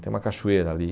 Tem uma cachoeira ali.